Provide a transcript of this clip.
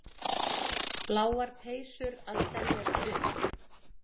Bláar peysur að seljast upp